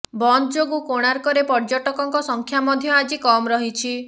ବନ୍ଦ ଯୋଗୁଁ କୋଣାର୍କରେ ପର୍ଯ୍ୟଟକଙ୍କ ସଂଖ୍ୟା ମଧ୍ୟ ଆଜି କମ୍ ରହିଛି